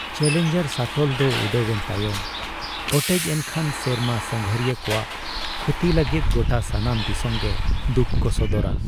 Challenger ᱥᱟᱴᱚᱞ ᱫᱚ ᱩᱰᱟᱹᱣᱮᱱ ᱛᱟᱭᱚᱢ ᱚᱴᱮᱡ ᱮᱱ ᱠᱷᱟᱱ ᱥᱮᱨᱢᱟ ᱥᱟᱸᱜᱷᱟᱹᱨᱤᱭᱟᱹ ᱠᱚᱣᱟᱜ ᱠᱷᱩᱛᱤ ᱞᱟᱹᱜᱤᱫ ᱜᱚᱴᱟ ᱥᱟᱱᱟᱢ ᱫᱤᱥᱚᱢ ᱜᱮ ᱫᱩᱠ ᱠᱚ ᱥᱚᱫᱚᱨᱟ ᱾